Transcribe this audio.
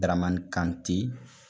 Daramani Kante.